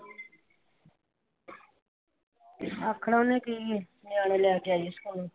ਆਖਣਾ ਉਨੇ ਕੀ ਹੈ। ਨਿਆਣੇ ਲੈ ਕੇ ਆਈ ਆ ਸਕੂਲੋ।